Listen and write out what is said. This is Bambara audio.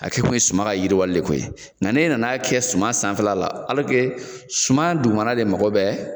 A kɛ tun ye suma ka yiriwali le ko ye nga n'e nan'a kɛ suman sanfɛla alɔrike suman dugumana de mago bɛ